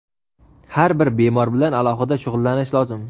har bir bemor bilan alohida shug‘ullanish lozim.